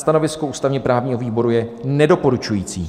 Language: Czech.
Stanovisko ústavně-právního výboru je nedoporučující.